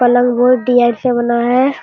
पलंग बहुत डिजाइन से बना है।